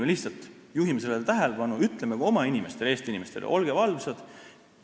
Me lihtsalt juhime sellele tähelepanu ja ütleme ka oma, Eesti inimestele, et olge valvsad.